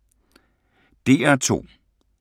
DR2